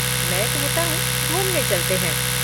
मैं कहता हूँ, घूमने चलते हैं।